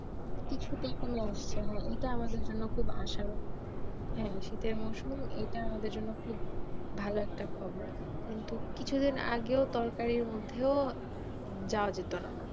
হা শীতের মরসুম ইটা আমাদের জন্য খুব ভালো একটা খবর কিন্তু কিছুদিন আগেও তরকারির মধ্যেও যাওয়া যেতোনা